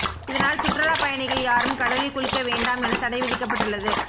இதனால் சுற்றுலாப் பயணிகள் யாரும் கடலில் குளிக்க வேண்டாம் என தடைவிதிக்கப்பட்டுள்ளது